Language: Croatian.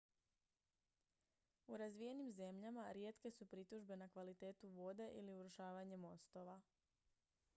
u razvijenim zemljama rijetke su pritužbe na kvalitetu vode ili urušavanje mostova